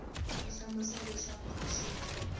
u hlamusela leswaku a swi